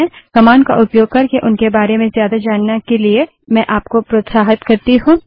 man command का उपयोग करके उनके बारे में ज्यादा जानने के लिए मैं आपको प्रोत्साहित करती हूँ